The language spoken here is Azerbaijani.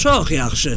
Çox yaxşı.